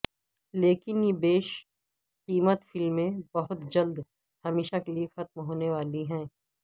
لیکن یہ بیش قیمت فلمیں بہت جلد ہمیشہ کےلیے ختم ہونے والی ہیں